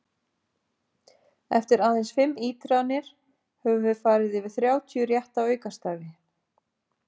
Eftir aðeins fimm ítranir höfum við yfir þrjátíu rétta aukastafi!